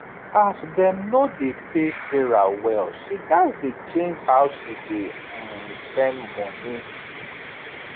as dem no dey pay sarah well she gats dey change how she dey um spend money